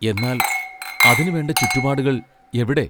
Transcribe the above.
എന്നാൽ അതിനു വേണ്ട ചുറ്റുപാടുകൾ എവിടെ?